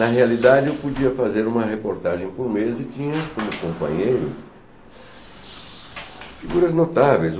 Na realidade, eu podia fazer uma reportagem por mês e tinha, como companheiros, figuras notáveis.